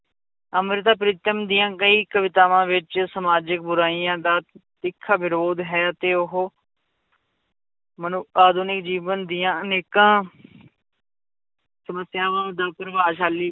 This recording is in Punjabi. ਅੰਮ੍ਰਿਤਾ ਪ੍ਰੀਤਮ ਦੀਆਂ ਕਈ ਕਵਿਤਾਵਾਂ ਵਿੱਚ ਸਮਾਜਿਕ ਬੁਰਾਈਆਂ ਦਾ ਤਿੱਖਾ ਵਿਰੋਧ ਹੈ ਤੇ ਉਹ ਮਨੁ~ ਆਧੁਨਿਕ ਜੀਵਨ ਦੀਆਂ ਅਨੇਕਾਂ ਸਮੱਸਿਆਵਾਂ ਦਾ ਪ੍ਰਭਾਵਸ਼ਾਲੀ